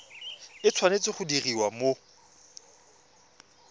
e tshwanetse go diriwa mo